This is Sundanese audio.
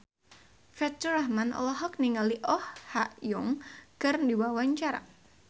Faturrahman olohok ningali Oh Ha Young keur diwawancara